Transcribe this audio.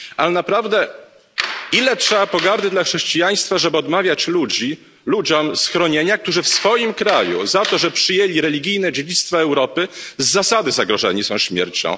A naprawdę, ile trzeba pogardy dla chrześcijaństwa, żeby odmawiać ludziom schronienia, którzy w swoim kraju za to, że przyjęli religijne dziedzictwo Europy, z zasady zagrożeni są śmiercią?